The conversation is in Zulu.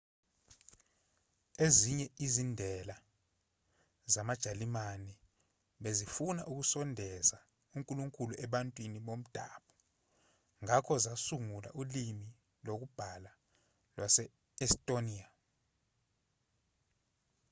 ezinye izindela zamajalimane bezifuna ukusondeza unkulunkulu ebantwini bomdabu ngakho zasungula ulimi lokubhala lwase-estonia